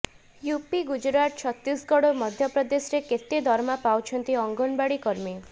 UP Gujarat Chhattisgarh ଓ ମଧ୍ୟପ୍ରଦେଶରେ କେତେ ଦରମା ପାଉଛନ୍ତି ଅଙ୍ଗନବାଡ଼ି କର୍ମୀ